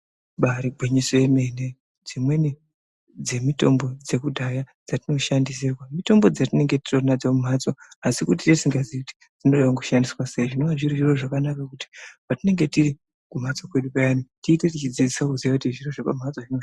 Imbaari gwinyiso remene, dzimweni dzemitombo yekudhaya dzatinoshandisirwa, mitombo dzatinenge titori nadzo mumhatso asi kuti tinenge tisingaziyi kuti dzinodeshandiswa sei zvinova zviri zviro zvakanaka kuti patinonga tiri kumhatso kwedu payani, tiite teidzidza kuti zviro zvepamhatso zvinoshanda sei.